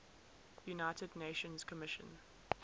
united nations commission